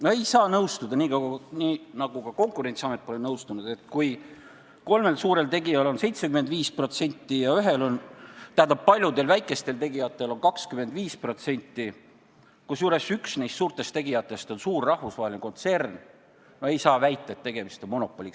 No ei saa nõustuda väitega – nii nagu Konkurentsiametki pole nõustunud –, et kui kolmel suurel tegijal on 75% ja paljudel väikestel tegijatel kokku 25%, kusjuures üks neist suurtest tegijatest on suur rahvusvaheline kontsern, siis on tegemist monopoliga.